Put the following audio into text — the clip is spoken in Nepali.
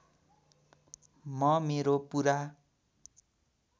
म मेरो पुरा